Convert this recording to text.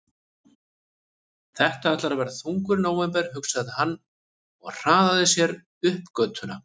Þetta ætlar að verða þungur nóvember, hugsaði hann og hraðaði sér upp götuna.